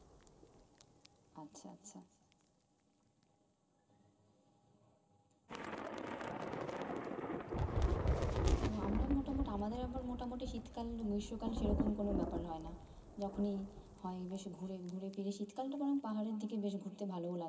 ও আমরাও মোটামুটি আমাদের একবার মোটামুটি শীতকাল গ্রীষ্মকাল সেরকম কোনো ব্যাপার হয় না যখনি হয় বেশ ঘুরে ঘুরে ফিরে শীতকালটা তেমন পাহাড়ের দিকে বেশ ঘুরতে ভালো লাগে